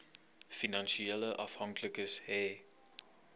finansiële afhanklikes hê